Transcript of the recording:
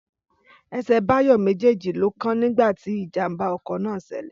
Ẹsẹ̀ Báyọ̀ méjèèjì ló kán nígbà tí ìjàmbá ọkọ̀ náà ṣẹlẹ̀